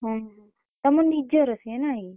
ହୁଁ ହୁଁ ତମ ନିଜର ସିଏ ନାଇଁ।